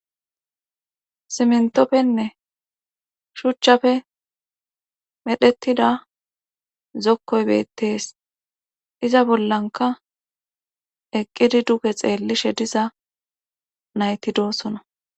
sSmentopfenne shuchchafe medhettida zokkoy beettees iza bollanka eqqidi duge xeellishe diza nayti doossona.